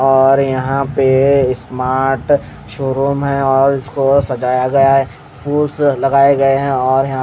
और यहाँ पे स्मार्ट शोरूम है और उसको सजाया गया है फूल्स लगाए गए है और यहाँ पे --